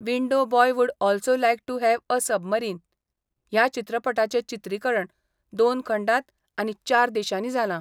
Window boy would also like to have a submarine ह्या चित्रपटाचे चित्रीकरण दोन खंडात आनी चार देशांनी जाला.